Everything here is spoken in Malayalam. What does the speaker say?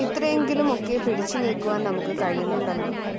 ഇത്രയെങ്കിലുമൊക്കെ പിടിച്ചുനില്ക്കുവാന്‍ നമുക്കു കഴിയുന്നുണ്ടല്ലോ